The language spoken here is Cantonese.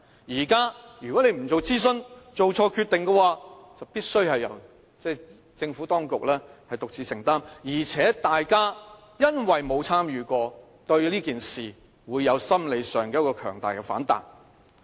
現在如果政府不進行諮詢而做錯決定，必須由政府當局獨自承擔，而且大家因為沒有參與其中，心理上便會對此事有強大的反彈。